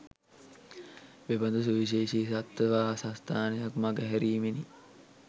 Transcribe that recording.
මෙබදු සුවිශේෂී සත්ත්ව වාසස්ථානයක් මඟහැරීමෙනි